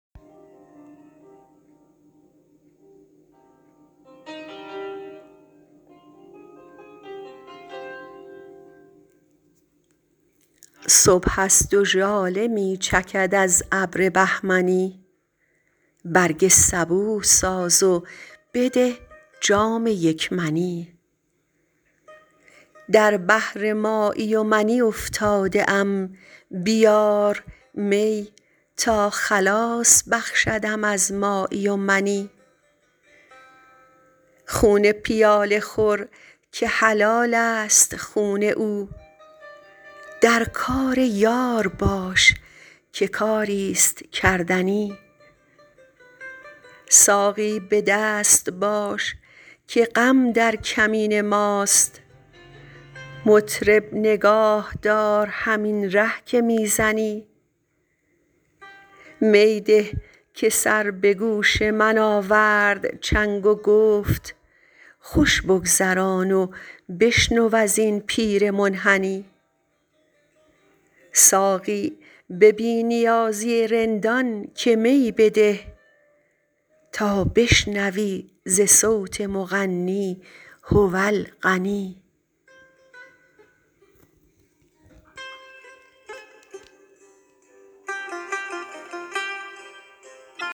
صبح است و ژاله می چکد از ابر بهمنی برگ صبوح ساز و بده جام یک منی در بحر مایی و منی افتاده ام بیار می تا خلاص بخشدم از مایی و منی خون پیاله خور که حلال است خون او در کار یار باش که کاری ست کردنی ساقی به دست باش که غم در کمین ماست مطرب نگاه دار همین ره که می زنی می ده که سر به گوش من آورد چنگ و گفت خوش بگذران و بشنو از این پیر منحنی ساقی به بی نیازی رندان که می بده تا بشنوی ز صوت مغنی هو الغنی